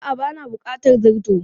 A'a ba na bukatar zarto.